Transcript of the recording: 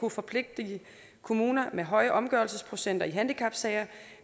at forpligtige kommuner med høj omgørelsesprocenter i handicapsager